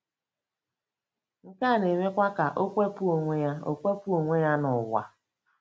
Nke a na-emekwa ka ọ kewapụ onwe ọ kewapụ onwe ya n'ụwa.